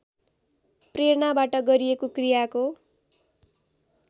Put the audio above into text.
प्रेरणाबाट गरिएको क्रियाको